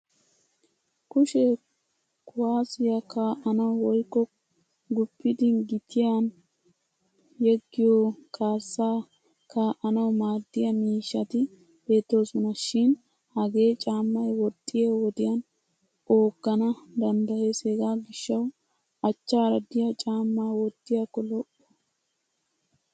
Kushe kuwaasiya kaa'nawu woykko guppidi gitiyan yeggiyo kaassaa kaa'anawu maaddiya miishshati beettoosona. Shin Hagee caammay woxxiya wodiyan ooggana danddayes hegaa gishshawu achchaara diya caammaa wottiyakko lo'o.